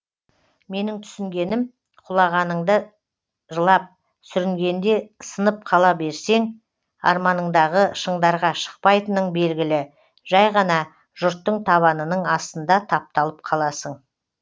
менің түсінгенім құлағаныңда жылап сүрінгенде сынып қала берсең арманыңдағы шыңдарға шықпайтының белгілі жәй ғана жұрттың табанының астында тапталып қаласың